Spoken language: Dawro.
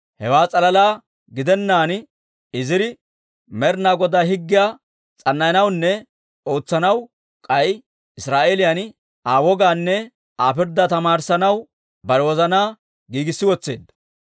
Hewaa s'alalaa gidennaan Iziri Med'ina Godaa Higgiyaa s'annayanawunne ootsanaw, k'ay Israa'eeliyan Aa wogaanne Aa pirddaa tamaarissanaw bare wozanaa giigissi wotseedda.